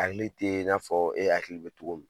Ala tɛ n'a fɔ e hakili bɛ cogo min.